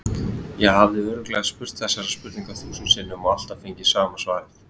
Ég hafði örugglega spurt þessarar spurningar þúsund sinnum og alltaf fengið sama svarið.